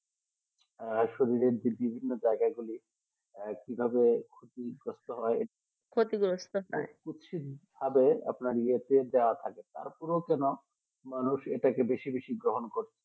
আর শরীরে বিভিন্ন জায়গাগুলি আর কিভাবে ক্ষতিগ্রস্ত হয় ক্ষতিগ্রস্ত হয় কুচ্ছিতভাবে আপনার পেট দেখা থাকবে পুরো যেন মানুষ এটাকে বেশি বেশি গ্রহণ করে